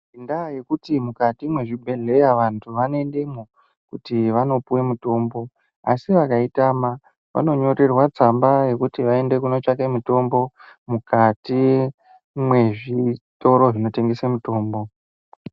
Ngenda yekuti mukati mwe zvibhedhleya vantu vano endemwo kuti vano piwe mutombo asi vakai tama vano nyorerwa tsamba yekuti vaende kuno tsvake mutombo mukati me zvitoro zvino tengesa mutombo.